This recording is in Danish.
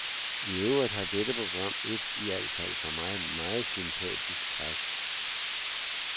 Iøvrigt har dette program et, i al fald for mig, meget sympatisk træk.